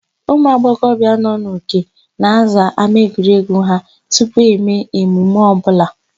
Ụmụagbọghọbịa nọ n'Uke na-aza ámáegwuregwu ha tupu eme emume ọbụla.